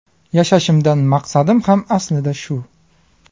Yashashimdan maqsadim ham aslida shu.